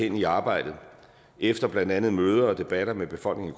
inde i arbejdet efter blandt andet møder og debatter med befolkningen